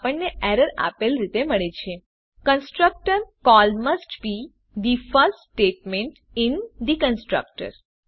આપણને એરર આપેલ રીતે મળે છે constructor call must be the first statement in the constructor